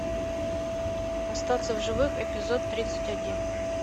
остаться в живых эпизод тридцать один